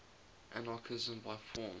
anarchism by form